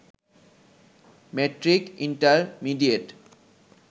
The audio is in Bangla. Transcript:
মেট্রিক-ইন্টারমিডিয়েট